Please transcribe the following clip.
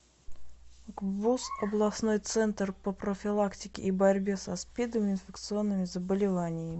гбуз областной центр по профилактике и борьбе со спидом и инфекционными заболеваниями